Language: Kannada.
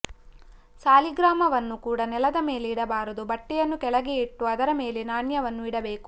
ಸಾಲಿಗ್ರಾಮ ವನ್ನೂ ಕೂಡ ನೆಲದ ಮೇಲೆ ಇಡಬಾರದು ಬಟ್ಟೆಯನ್ನು ಕೆಳಗೆ ಇಟ್ಟು ಅದರ ಮೇಲೆ ನಾಣ್ಯವನ್ನು ಇಡಬೇಕು